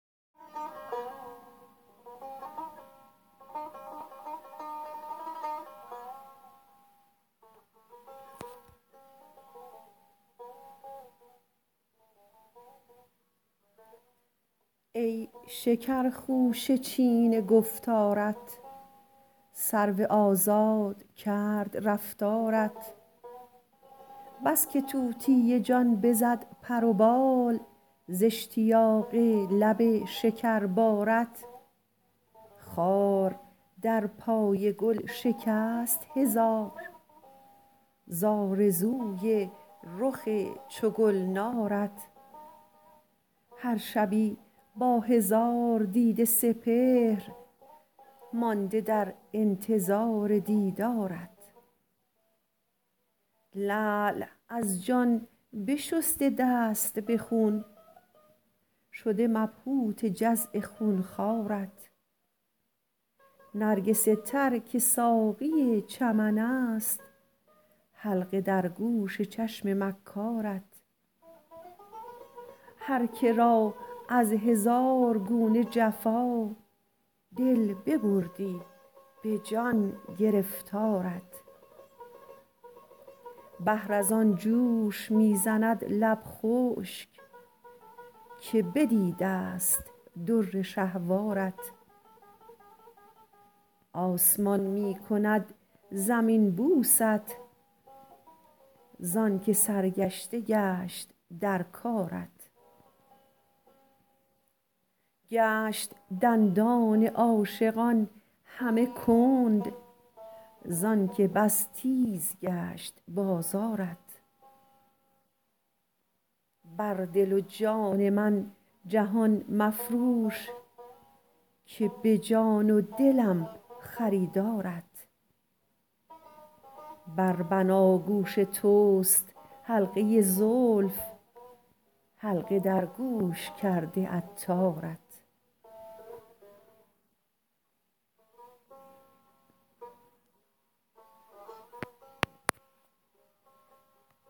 ای شکر خوشه چین گفتارت سرو آزاد کرد رفتارت بس که طوطی جان بزد پر و بال ز اشتیاق لب شکر بارت خار در پای گل شکست هزار ز آرزوی رخ چو گلنارت هر شبی با هزار دیده سپهر مانده در انتظار دیدارت لعل از جان بشسته دست به خون شده مبهوت جزع خون خوارت نرگس تر که ساقی چمن است حلقه در گوش چشم مکارت هرکه را از هزار گونه جفا دل ببردی به جان گرفتارت بحر از آن جوش می زند لب خشک که بدیدست در شهوارت آسمان می کند زمین بوست زانکه سرگشته گشت در کارت گشت دندان عاشقان همه کند زانکه بس تیز گشت بازارت بر دل و جان من جهان مفروش که به جان و دلم خریدارت بر بناگوش توست حلقه زلف حلقه در گوش کرده عطارت